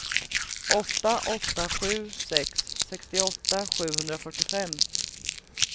åtta åtta sju sex sextioåtta sjuhundrafyrtiofem